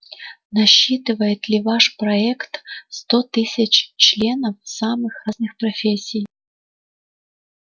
насчитывает ли ваш проект сто тысяч членов самых разных профессий